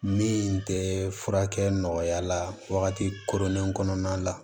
Min tɛ furakɛ nɔgɔya la wagati koronnen kɔnɔna la